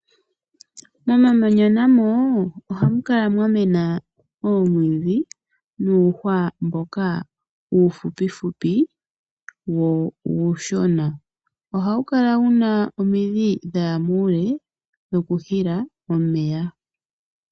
Momamanya namo ohamu kala mwa mena oomwiidhi nuuhwa mboka uufupi- fupi wo uushona. Ohawu kala wuna omidhi dhaya muule dho ku hila omeya.